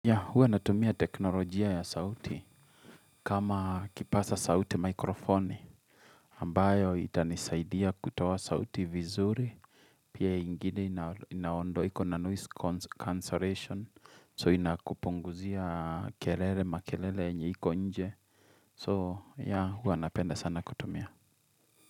Ya huwa natumia teknolojia ya sauti kama kipasa sauti mikrofoni ambayo itanisaidia kutaoa sauti vizuri. Pia ingine inaondo iko na noise cancellation so inakupunguzia kelele makelele yenye iko nje so huwa napenda sana kutumia.